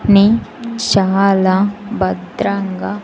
నీ చాలా భద్రంగా --